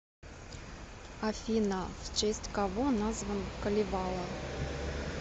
афина в честь кого назван калевала